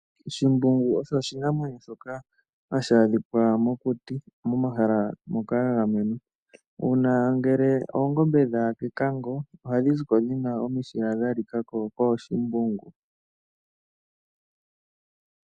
Shimbungu osho oshinamwenyo shoka hashi adhika mokuti, momahala ngoka ga gamenwa. Uuna ngele oongombe dha ya kekango ohadhi ziko dhina omishila dha lika ko kooshimbungu.